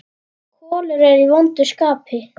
Kolur er í vondu skapi.